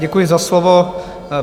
Děkuji za slovo.